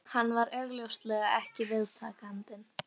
Hann var augljóslega ekki viðtakandinn